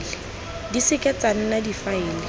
di seke tsa nna difaele